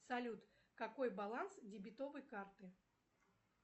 салют какой баланс дебетовой карты